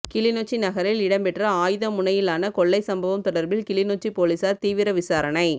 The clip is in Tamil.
கிளிநொச்சி நகரில் இடம்பெற்ற ஆயுத முனையிலான கொள்ளை சம்பவம் தொடர்பில் கிளிநாச்சி பொலிஸார் தீவிர விசாரண